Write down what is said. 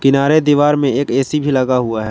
दीवार में एक ए_सी भी लगा हुआ है।